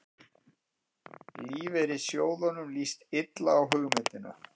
Lífeyrissjóðunum líst illa á hugmyndina